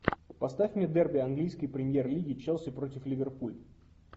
поставь мне дерби английской премьер лиги челси против ливерпуль